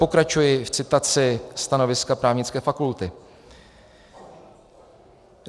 Pokračuji v citaci stanoviska Právnické fakulty.